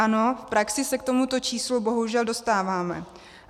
Ano, v praxi se k tomuto číslu bohužel dostáváme.